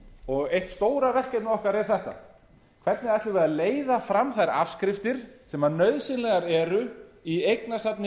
og eitt stóra verkefnið okkar er þetta hvernig ætlum við að leiða fram þær afskriftir sem nauðsynlegar eru í eignasafni